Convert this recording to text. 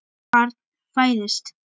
Barn fæðist.